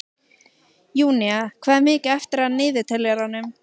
Júnía, hvað er mikið eftir af niðurteljaranum?